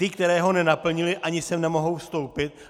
Ty, které ho nenaplnily, ani sem nemohou vstoupit.